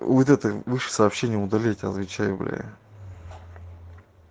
вот это выше сообщение удали отвечаю бля